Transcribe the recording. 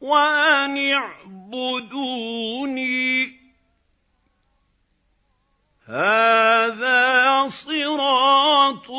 وَأَنِ اعْبُدُونِي ۚ هَٰذَا صِرَاطٌ